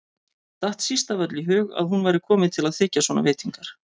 Datt síst af öllu í hug að hún væri komin til að þiggja svona veitingar.